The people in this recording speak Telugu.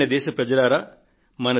ప్రియమైన నా దేశ వాసులారా